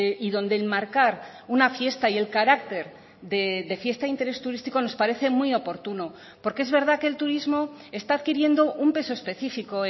y donde enmarcar una fiesta y el carácter de fiesta interés turístico nos parece muy oportuno porque es verdad que el turismo está adquiriendo un peso específico